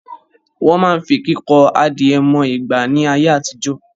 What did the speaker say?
Wọ́n máa ń fi kíkọ adìẹ mọ ìgbà ni ayé àtijọ́